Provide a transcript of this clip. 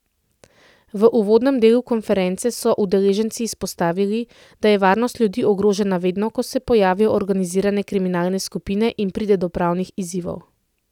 V uvodnem delu konference so udeleženci izpostavili, da je varnost ljudi ogrožena vedno, ko se pojavijo organizirane kriminalne skupine in pride do pravnih izzivov.